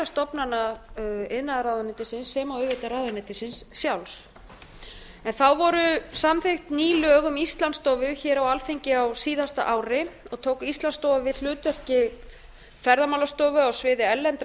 stofnana iðnaðarráðuneytisins sem og auðvitað ráðuneytisins sjálfs þá voru samþykkt ný lög um íslandsstofu hér á alþingi á síðasta ári og tók íslandsstofa við hlutverki ferðamálastofu á sviði erlendrar